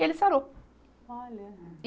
E ele sarou. Olha. E